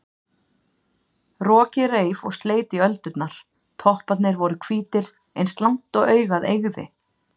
Rokið reif og sleit í öldurnar, topparnir voru hvítir eins langt og augað eygði.